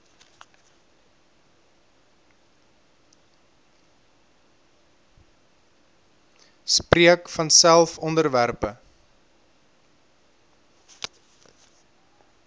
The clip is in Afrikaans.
spreek vanself onderwerpe